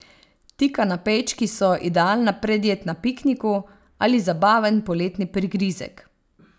Ti kanapejčki so idealna predjed na pikniku ali zabaven poletni prigrizek.